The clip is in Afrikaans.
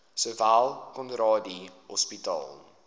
sowel conradie hospitaal